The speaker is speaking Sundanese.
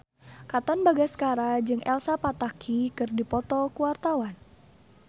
Katon Bagaskara jeung Elsa Pataky keur dipoto ku wartawan